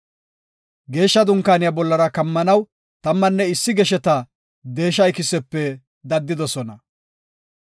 Geeshsha Dunkaaniya bollara kammanaw tammanne issi gesheta deesha ikisepe daddidosona.